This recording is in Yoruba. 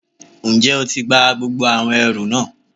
N jẹ́ o ti gba gbogbo àwọn ẹrù náà